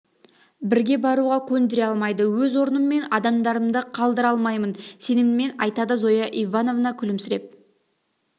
бірге баруға көндіре алмайды өз орным мен адамдарымды қалтыра алмаймын сеніммен айтады зоя ивановна күлімсіреп